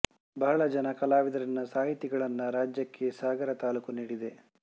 ಬಹಳ ಜನ ಕಲಾವಿದರನ್ನು ಸಾಹಿತಿಗಳನ್ನು ರಾಜ್ಯಕ್ಕೆ ಸಾಗರ ತಾಲೂಕು ನೀಡಿದೆ